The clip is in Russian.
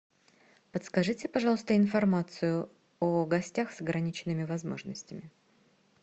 подскажите пожалуйста информацию о гостях с ограниченными возможностями